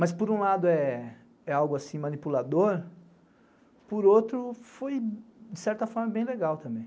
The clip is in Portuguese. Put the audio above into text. Mas, por um lado, é algo assim manipulador, por outro, foi, de certa forma, bem legal também.